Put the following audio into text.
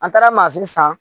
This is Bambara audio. An taara mansin san